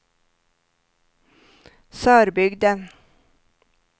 Sörbygden